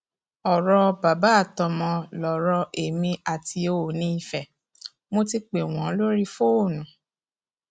ọrọ bàbá àtọmọ lọrọ èmi àti oòní ife mo ti pè wọn lórí fóònù